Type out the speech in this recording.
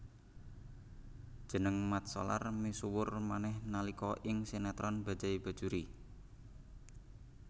Jeneng Mat Solar misuwur manéh nalika ing sinetron Bajaj Bajuri